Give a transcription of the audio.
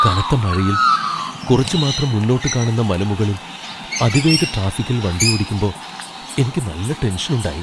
കനത്ത മഴയിൽ കുറച്ച് മാത്രം മുന്നോട്ട് കാണുന്ന മലമുകളിൽ അതിവേഗ ട്രാഫിക്കിൽ വണ്ടിയോടിക്കുമ്പോ എനിക്ക് നല്ല ടെൻഷനുണ്ടായി.